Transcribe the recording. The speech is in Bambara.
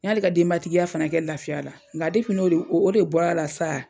N y'ale ka denbatigiya fana kɛ lafiya la, nga n'o de o de bɔra la sa,